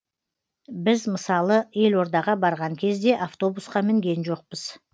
біз мысалы елордаға барған кезде автобусқа мінген жоқпыз